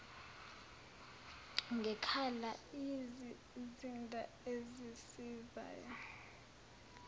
ngekhala yizizinda ezisizayo